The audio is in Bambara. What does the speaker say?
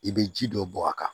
I bɛ ji dɔ bɔ a kan